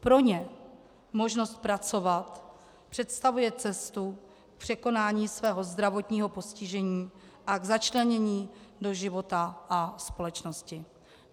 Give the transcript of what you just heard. Pro ně možnost pracovat představuje cestu k překonání svého zdravotního postižení a k začlenění do života a společnosti.